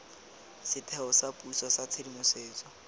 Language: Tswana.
setheo sa puso sa tshedimosetso